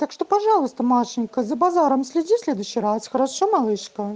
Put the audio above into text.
так что пожалуйста машенька за базаром следи в следующий раз хорошо малышка